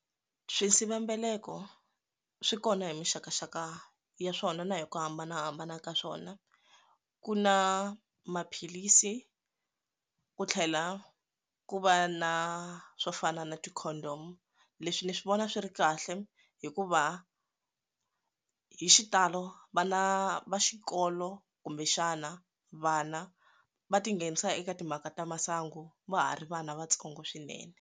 Swisivelambeleko swi kona hi mixakaxaka ya swona na hi ku hambanahambana ka swona ku na maphilisi ku tlhela ku va na swo fana na ti condom leswi ni swi vona swi ri kahle hikuva hi xitalo vana va xikolo kumbexana vana va tinghenisa eka timhaka ta masangu va ha ri vana vatsongo swinene.